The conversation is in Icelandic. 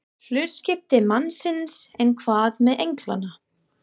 Hlutskipti mannsins, en hvað með englana?